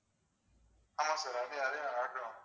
ஆமா sir அதே அதே நான்